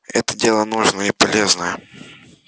это дело нужное и полезное